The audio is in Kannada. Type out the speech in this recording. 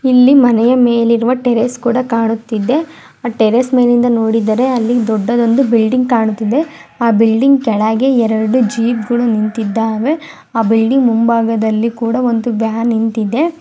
ಇಲ್ಲಿ ಮನೆಯ ಮೇಲೆ ಟೆರೇಸ್ ಗಳು ಕಾಣುತ್ತಿದೆ. ಟೆರೇಸ್ ಮೇಲಿಂದ ನೋಡಿದರೆ ಒಂದು ದೊಡ್ಡದೊಂದುಬಿಲ್ಡಿಂಗ್ ಕಾಣುತ್ತಿದೆ ಆ ಬಿಲ್ಡಿಂಗ್ ಕೆಳಗಡೆ ಎರಡು ಜೀಪ್ಗಳು ನಿಂತಿದ್ದಾವೆ ಮುಂಭಾಗದಲ್ಲಿ ಕೂಡ ಒಂದು ವ್ಯಾನ್ ನಿಂತಿದೆ.